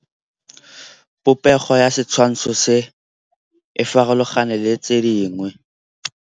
Popêgo ya setshwantshô se, e farologane le tse dingwe.